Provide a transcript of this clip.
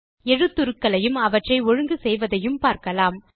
எழுத்துருக்களையும் அவற்றை ஒழுங்கு செய்வதையும் பார்க்கலாம்